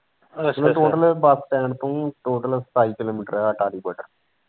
ਇਹ total bus stand ਤੋਂ ਹੀ total ਸਤਾਈ ਕਿਲੋਮੀਟਰ ਹੈ ਅਟਾਰੀ ਬਾਰਡਰ।